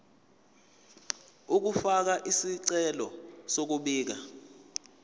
ukufaka isicelo sokubika